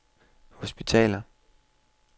hospitaler